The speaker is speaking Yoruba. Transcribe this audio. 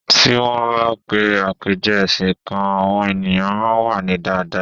Ti won ba pè apeje ẹsìn kan, àwọn ènìyàn máa n wa ni daadaa